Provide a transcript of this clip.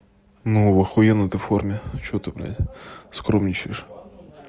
ну в охуенной ты форме что ты блять скромничаешь